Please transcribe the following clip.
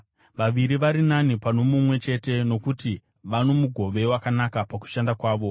Vaviri vari nani pano mumwe chete, nokuti vano mugove wakanaka pakushanda kwavo: